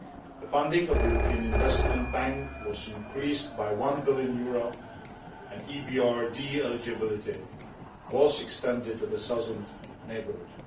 The funding of the European Investment Bank was increased by EUR 1 billion, and EBRD eligibility was extended to the southern neighbourhood.